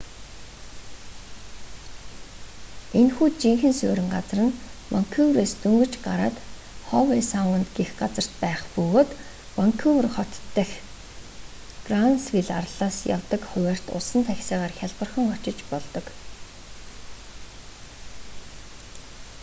энэхүү жинхэнэ суурин газар нь ванкуверээс дөнгөж гараад хове саунд гэх газарт байх бөгөөд ванкувер хотын төв дэх гранвилл арлаас явдаг хуваарьт усан таксигаар хялбархан очиж болдог